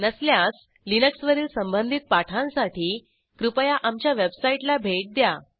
नसल्यास लिनक्सवरील संबंधित पाठांसाठी कृपया आमच्या वेबसाईटला भेट द्या